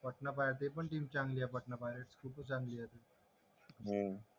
अच्छा हा राहुल माझा तर परदीप नरवाल आहे